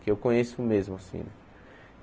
Que eu conheço mesmo, assim.